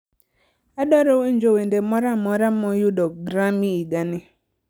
Adwaro winjo wende moro amora moyudo Grammy higa ni